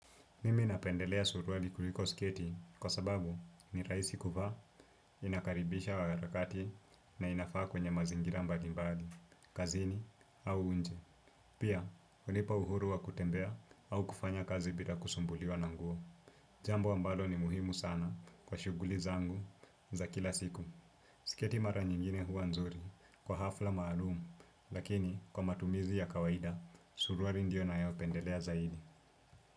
Mimi napendelea suruali kuliko sketi kwa sababu ni rahisi kuvaa, inakaribisha wakarakati na inafaa kwenye mazingira mbalimbali, kazini au nje. Pia, hunipa uhuru wa kutembea au kufanya kazi bila kusumbuliwa na nguo. Jambo ambalo ni muhimu sana kwa shughuli zangu za kila siku. Sketi mara nyingine huwa nzuri kwa hafla maalum lakini kwa matumizi ya kawaida, suruali ndio nayo pendelea zaidi.